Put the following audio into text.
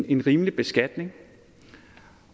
en rimelig beskatning